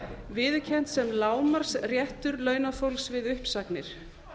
viðurkennt sem lágmarksréttur launafólks við uppsagnir